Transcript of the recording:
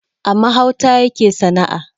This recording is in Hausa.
A mahauta yake sana`a